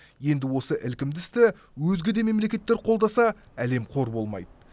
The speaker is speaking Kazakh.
енді осы ілкімді істі өзге де мемлекеттер қолдаса әлем қор болмайды